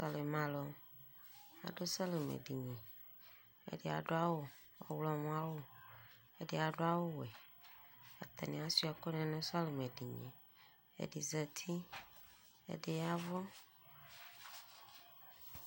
sɔlimɛ alʋ adʋ sɔlimɛ dini, ɛdi adʋ awʋ, ɔwlɔmɔ awʋ ɛdi adʋ awʋ wɛ atani asʋa ɛkʋni nʋ sɔlimɛ, ɛdi zati ɛdi yavʋ